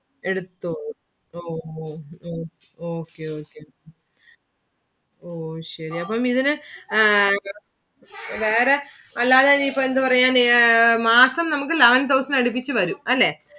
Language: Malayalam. എടുത്തു ഓ ഓ ഓ okay okay ഓ ശരി അപ്പം ഇതിനു വേറെ അല്ലാതെ ഈ ഇപ്പൊ എന്ത് പറയുക മാസം നമുക്ക് eleven thousand ഇന് അടുപ്പിച്ചു വരും. അല്ലെ